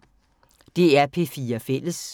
DR P4 Fælles